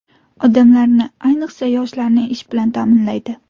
Odamlarni, ayniqsa, yoshlarni ish bilan ta’minlaydi.